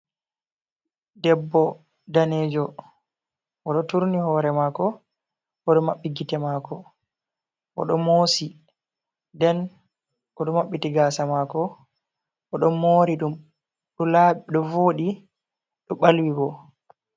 Debbo danejo, oɗo turni hoore mako, oɗo Mabɓi gite mako oɗo mosi. Nden oɗo mabɓiti Gasa mako oɗon Mori ɗum ɗo laɓi ɗo voɗi ɗo ɓalwi bo.